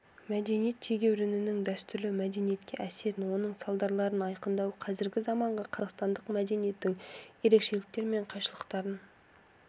мәдениет тегеурінінің дәстүрлі мәдениетке әсерін оның салдарларын айқындау қазіргі заманғы қазақстандық мәдениеттің ерекшеліктері мен қайшылықтарын